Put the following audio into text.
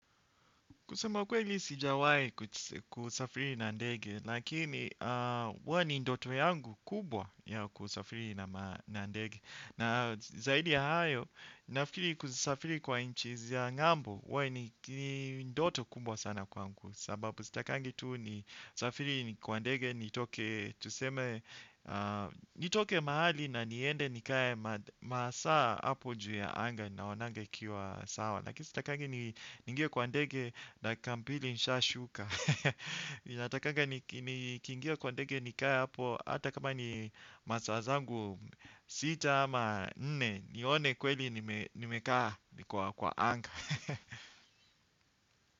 Kusema ukweli sijawai kusafiri na ndege, lakini huwa ni ndoto yangu kubwa ya kusafiri na ndege. Na zaidi ya hayo, nafikiri kusafiri kwa inchi za ngambo, huwa ni ndoto kubwa sana kwangu. Sababu sitakangi tu nisafiri kwa ndege, nitoke mahali na niende nikae masaa hapo juu ya anga naonanga ikiwa sawa. Lakini sitakangi niingie kwa ndege dakika mbili nishashuka ninatakanga nikingia kwa ndege nikae hapo hata kama ni masaa zangu sita ama nne. Nione kweli nimekaa kwa anga.